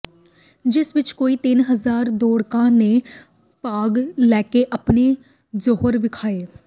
ਜਿਸ ਵਿੱਚ ਕੋਈ ਤਿੰਨ ਹਜ਼ਾਰ ਦੌੜ੍ਹਾਕਾਂ ਨੇ ਭਾਗ ਲੈਕੇ ਆਪਣੇ ਜ਼ੌਹਰ ਵਿਖਾਏ